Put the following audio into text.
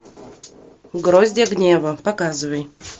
гроздья гнева показывай